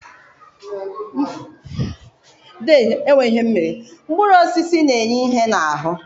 Mkpụrụ osisi na-enye ihe n'ahụ